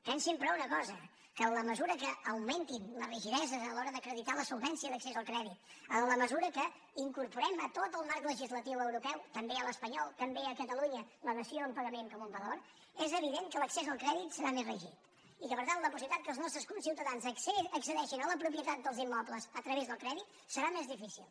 pensin però una cosa que en la mesura que augmentin les rigideses a l’hora d’acreditar la solvència d’accés al crèdit en la mesura que incorporem a tot el marc legislatiu europeu també a l’espanyol també a catalunya la dació en pagament com un valor és evident que l’accés al crèdit serà més rígid i que per tant la possibilitat que els nostres conciutadans accedeixen a la propietat dels immobles a través del crèdit serà més difícil